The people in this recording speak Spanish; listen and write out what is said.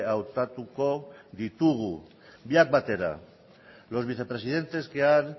hautatuko ditugu biak batera los vicepresidentes que ha